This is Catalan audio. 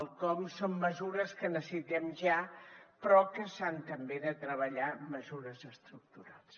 el com són mesures que necessitem ja però que s’han també de treballar mesures estructurals